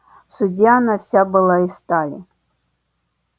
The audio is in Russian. в суде она вся была из стали